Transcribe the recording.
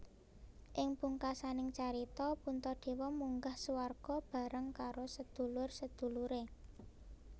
Ing pungkasaning carita Puntadewa munggah swarga bareng karo sedulur sedulure